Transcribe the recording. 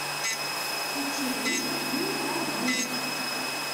учебник дюкобю